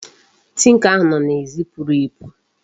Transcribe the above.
Tinker ahụ nọ n'èzí puru epu.